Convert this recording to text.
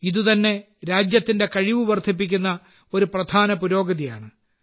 ഇത് തന്നെ രാജ്യത്തിന്റെ കഴിവ് വർധിപ്പിക്കുന്ന ഒരു പ്രധാന പുരോഗതിയാണ്